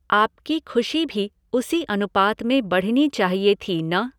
आपकी खुशी भी उसी अनुपात में बढनी चाहिए थी न?